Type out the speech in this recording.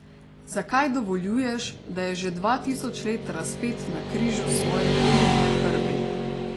Zakaj dovoljuješ, da je že dva tisoč let razpet na križu svoje krivdne krvi?